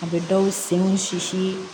A bɛ dɔw senw sisi